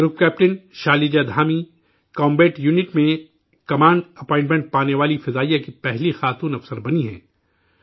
group captain Shaliza Dhami combat unit میں command appointment پانے والی پہلی خاتون فضائیہ افسر بنی ہیں